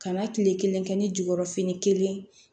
Kana kile kelen kɛ ni jukɔrɔ fini kelen